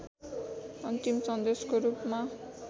अन्तिम सन्देशको रूपमा